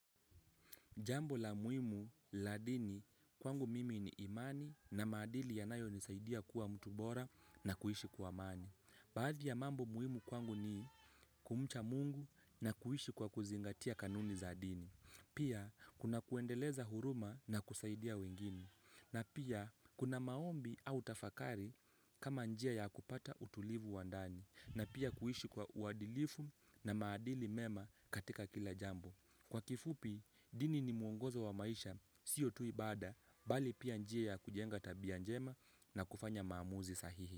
Jambo la muhimu la dini kwangu mimi ni imani na maadili yanayonisaidia kuwa mtu bora na kuishi kwa amani. Baadhi ya mambo muhimu kwangu ni kumcha mungu na kuishi kwa kuzingatia kanuni za dini. Pia, kuna kuendeleza huruma na kusaidia wengine. Na pia, kuna maombi au tafakari kama njia ya kupata utulivu wa ndani. Na pia kuishi kwa uadilifu na maadili mema katika kila jambo. Kwa kifupi, dini ni muongozo wa maisha, sio tu ibada, bali pia njia ya kujenga tabia njema na kufanya maamuzi sahihi.